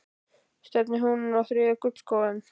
Stefnir hún á þriðja gullskóinn?